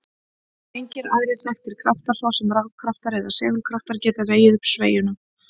Engir aðrir þekktir kraftar, svo sem rafkraftar eða segulkraftar, geta vegið upp sveigjuna.